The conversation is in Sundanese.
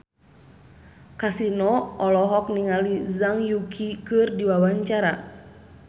Kasino olohok ningali Zhang Yuqi keur diwawancara